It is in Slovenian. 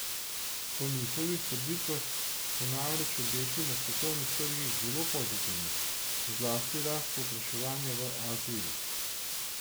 Po njihovih trditvah so namreč obeti na svetovnih trgih zelo pozitivni, zlasti rast povpraševanja v Aziji.